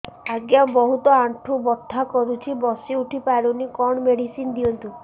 ଆଜ୍ଞା ବହୁତ ଆଣ୍ଠୁ ବଥା କରୁଛି ବସି ଉଠି ପାରୁନି କଣ ମେଡ଼ିସିନ ଦିଅନ୍ତୁ